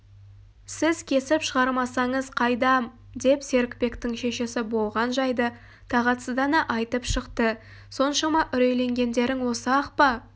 сіз кесіп шығармасаңыз қайдам деп серікбектің шешесі болған жайды тағатсыздана айтып шықты соншама үрейленгендерің осы-ақ па